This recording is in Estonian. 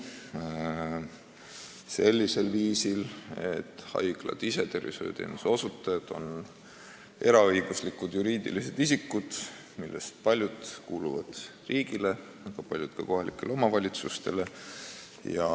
See toimub sellisel viisil, et haiglad ehk tervishoiuteenuse osutajad on eraõiguslikud juriidilised isikud, millest paljud kuuluvad riigile ja paljud kohalikele omavalitsustele.